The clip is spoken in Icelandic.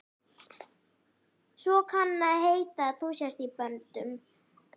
Svo kann að heita að þú sért í böndum.